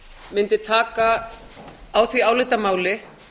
mundi taka á því álitamáli